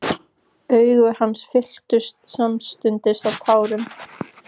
Augu hans fylltust samstundis af tárum.